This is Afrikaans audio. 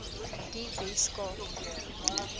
die wes kaap